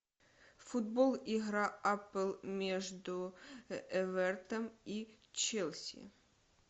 футбол игра апл между эвертон и челси